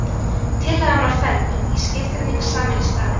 Tillagan var felld og ný skilgreining samin í staðinn.